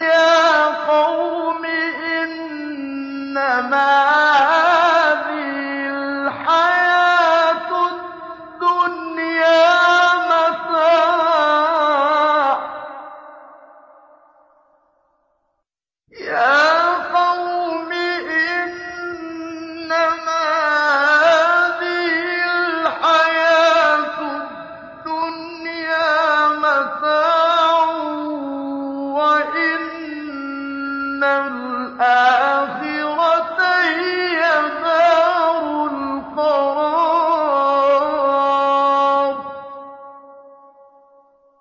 يَا قَوْمِ إِنَّمَا هَٰذِهِ الْحَيَاةُ الدُّنْيَا مَتَاعٌ وَإِنَّ الْآخِرَةَ هِيَ دَارُ الْقَرَارِ